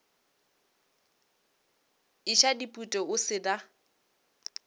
iša dipute o se na